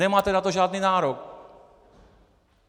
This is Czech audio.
Nemáte na to žádný nárok!